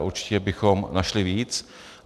A určitě bychom našli víc.